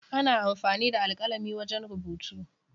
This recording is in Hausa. Ana amfani da alkalami wajen rubutu.